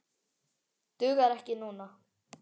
Dugar ekki núna.